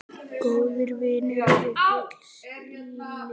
Góðir vinir eru gulls ígildi.